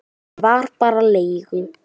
Ég var bara leigu